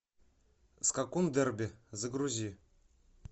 скакун дерби загрузи